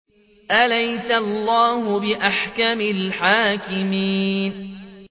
أَلَيْسَ اللَّهُ بِأَحْكَمِ الْحَاكِمِينَ